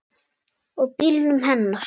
Og bílnum hennar.